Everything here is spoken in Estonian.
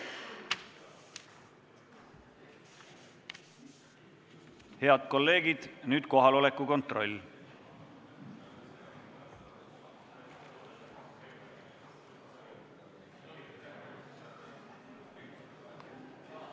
Head kolleegid, nüüd kohaloleku kontroll.